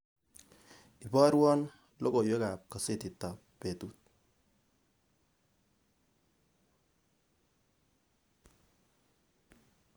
Ibarwon logoywekab kasetitab betut